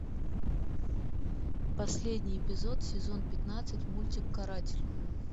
последний эпизод сезон пятнадцать мультик каратель